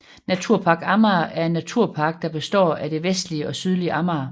Naturpark Amager er en naturpark der består af det vestlige og sydlige Amager